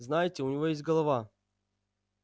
знаете у него есть голова